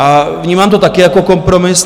A vnímám to taky jako kompromis.